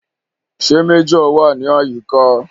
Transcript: Ṣé Méjọ̀ wà ní àyíká?